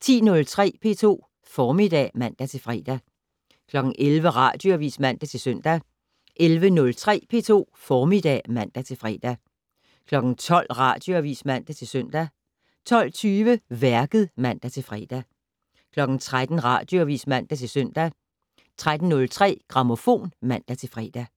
10:03: P2 Formiddag (man-fre) 11:00: Radioavis (man-søn) 11:03: P2 Formiddag (man-fre) 12:00: Radioavis (man-søn) 12:20: Værket (man-fre) 13:00: Radioavis (man-lør) 13:03: Grammofon (man-fre)